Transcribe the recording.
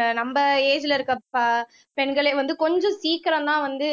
ஆஹ் நம்ம ஏஜ்ல இருக்க ப பெண்களே வந்து கொஞ்சம் சீக்கிரம்தான் வந்து